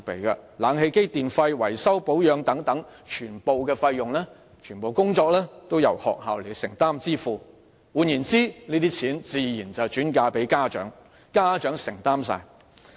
空調設備、電費和維修保養等全部費用和工作均由學校承擔和支付，這些開支自然會轉嫁家長，變相由他們獨力承擔。